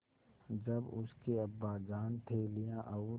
जब उसके अब्बाजान थैलियाँ और